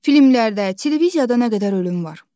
Filmlərdə, televiziyada nə qədər ölüm var?